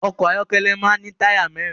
Ọkọ ayọkẹlẹ máa ní táyà mẹ́rin